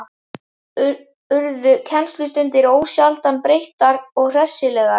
Urðu kennslustundir ósjaldan léttar og hressilegar.